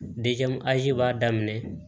b'a daminɛ